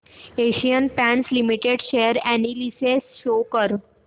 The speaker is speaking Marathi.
Asian paints limited share analysis show कर